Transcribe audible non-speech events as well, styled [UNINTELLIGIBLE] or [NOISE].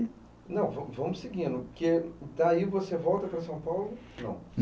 Não, vamo vamos seguindo, porque daí você volta para São Paulo? [UNINTELLIGIBLE]